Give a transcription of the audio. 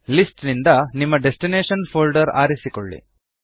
list ನಿಂದ ನಿಮ್ಮ destination folder ಆರಿಸಿಕೊಳ್ಳಿ